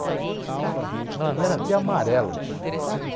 O Guaraná era até amarelo, bicho.